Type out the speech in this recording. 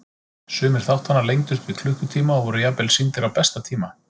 Sumir þáttanna lengdust upp í klukkutíma og voru jafnvel sýndir á besta tíma.